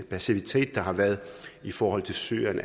passivitet der har været i forhold til syrien